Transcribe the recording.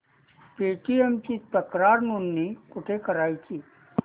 Paytm ची तक्रार नोंदणी कुठे करायची